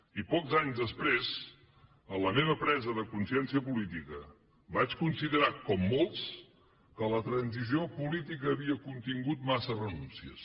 i pocs anys després en la meva presa de consciència política vaig considerar com molts que la transició política havia contingut massa renúncies